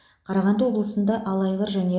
қарағанды облысында алайғыр және